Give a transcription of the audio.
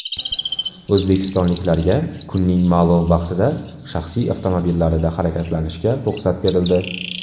O‘zbekistonliklarga kunning ma’lum vaqtida shaxsiy avtomobillarida harakatlanishga ruxsat berildi.